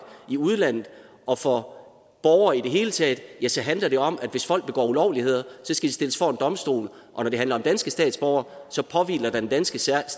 i udlandet og for borgere i det hele taget ja så handler det om at hvis folk begår ulovligheder skal de stilles for en domstol og når det handler om danske statsborgere påhviler der den danske stat